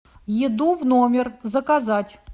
еду в номер заказать